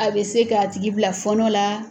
A bɛ se k'a tigi bila fɔɔnɔ la.